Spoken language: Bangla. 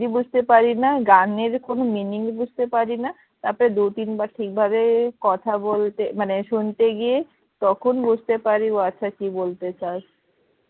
বুঝতে পারিনা গানের কোনো meaning বুঝতে পারিনা তারপর দু তিন বার ঠিক ভাবে কথা বলতে মানে শুনতে গিয়ে তখন বুঝতে পার ও আচ্ছা কি বলতে চাস.